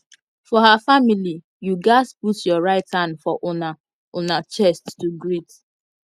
for her familyyou gats put your right hand for una una chest to greet